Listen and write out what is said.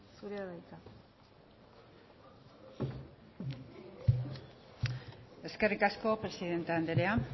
zurea da hitza eskerrik asko presidente anderea